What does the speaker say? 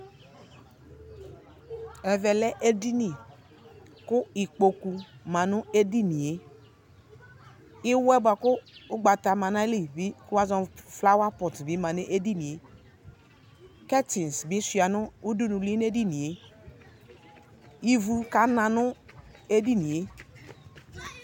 Ɛvɛ lɛ edini kʋ ikpokʋ ma nʋ edini e Iwɛ boa kʋ ugbata ma n'ayili bi kʋ woazɔ nʋ flawa pɔt bi ma nʋ edini e Kɛtiŋsi bi sua nʋ udunuli n'ɛdini e Ivu kana nʋ edini e